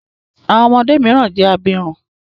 Àwọn ọmọdé mìíràn jẹ abirùn.